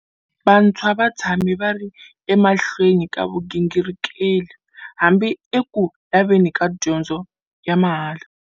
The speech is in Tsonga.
Vantshwa va tshame va ri emahlweni ka vugingirikeli, hambi eku laveni ka dyondzo ya mahala.